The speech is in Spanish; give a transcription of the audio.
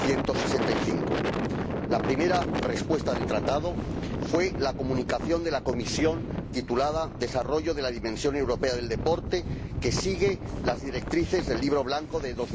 165. La primera respuesta del Tratado fue la Comunicación de la Comisión titulada Desarrollo de la dimensión europea del deporte, que sigue las directrices del Libro Blanco de